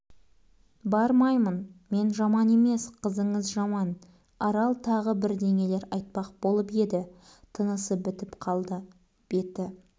бармаймын мен жаман емес қызыңыз жаман арал тағы бірдеңелер айтпақ болып еді тынысы бітіп қалды беті